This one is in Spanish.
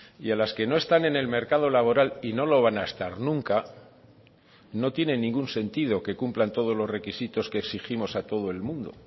y a las que no están en el mercado laboral y no lo van a estar nunca no tienen ningún sentido que cumplan todos los requisitos que exigimos a todo el mundo